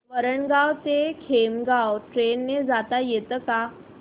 वरणगाव ते खामगाव ट्रेन ने जाता येतं का